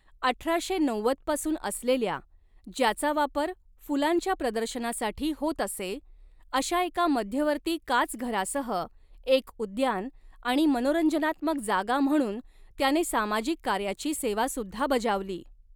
अठराशे नव्वद पासून असलेल्या, ज्याचा वापर फुलांच्या प्रदर्शनासाठी होत असे अशा एका मध्यवर्ती काचघरासह, एक उद्यान आणि मनोरंजनात्मक जागा म्हणून त्याने सामाजिक कार्याची सेवासुद्धा बजावली.